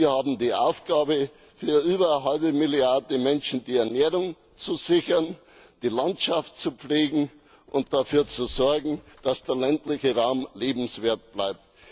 Wir haben die Aufgabe, für über eine halbe Milliarde Menschen die Ernährung zu sichern, die Landschaft zu pflegen und dafür zu sorgen, dass der ländliche Raum lebenswert bleibt.